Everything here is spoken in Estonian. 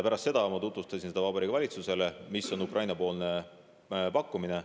Pärast ma tutvustasin Vabariigi Valitsusele, mis on Ukraina pakkumine.